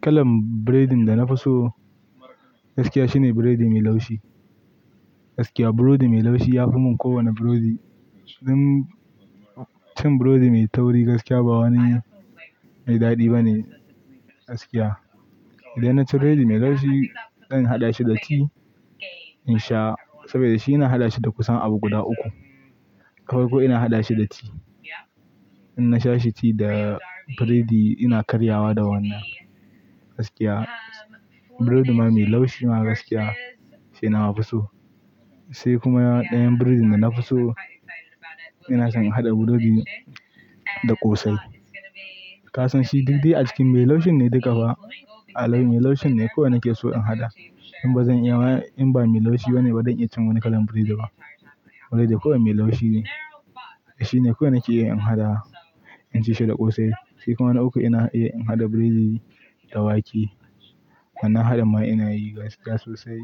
Kalan burodi da na fi so gaskiya shine burodi mai laushi. Gaskiya burodi mai laushi ya fi mun kowane burodi. Cin burodi mai tauri gaskiya ba wani mai daɗi ba ne, gaskiya. Idan na ci burodi mai laushi zan haɗa shi da tea in sha saboda shi ina haɗa shi da kusan abu guda uku. Ta Farko ina haɗa shi da tea. In na sha shi ti da burodi ina karyawa da wannan, gaskiya. Burodi ma mai laushi ma gaskiya shi na mafi so. Sai kuma ɗayan burodin da na fi so ina son in haɗa burodi da ƙosai. Ka san shi duk dai a cikin mai laushin ne duka ba. A al'umma laushin ne kowa nake so in haɗa. In ba zan iya in ba mai laushi wane ba zan iya cin wani kalan burodi ba. Wai dai kowa mai laushi shine kowa nake iya in haɗa, in ci shi da ƙosai. Sai kuma na uku ina iya in haɗa burodi da wake. Wannan haɗi ma ina yi gaskiya sosai.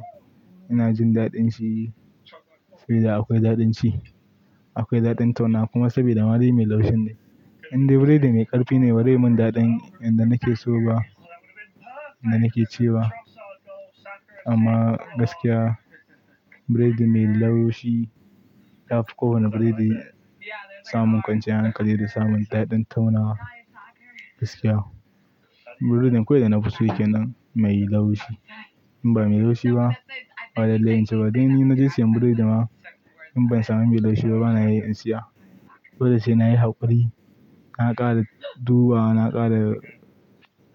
Ina jin daɗin shi sai dai akwai daɗin shi, akwai daɗin tauna kuma saboda ma dai mai laushin ne. Indai burodi mai ƙarfi ne ba zai mun daɗin inda nake so ba, inda nake ci ba. Amma gaskiya burodi mai laushi yafi kowane burodi samun kwance hankali da samun daɗin tauna gaskiya. Burodin kawai da na fi so yake nan mai laushi. In ba mai laushi ba ba laile in ci ba. Dan ni na je siyan burodi ma in ban samu mai laushi ba bana iya in siya. Ko da sai nayi haƙuri na ƙara duba, na ƙara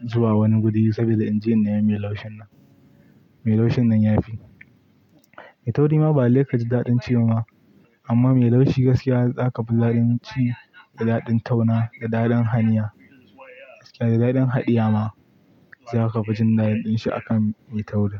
zuwa wani guri saboda in je in nemi mai laushin nan. Mai laushin nan ya fi. Mai tauri ma ba lalle kaji daɗin ci ba ma. Amma mai laushi gaskiya za ka fi daɗin ci da daɗin tauna, da daɗin hanya, da daɗin haɗiya ma za ka fi jin daɗin shi akan mai tauri.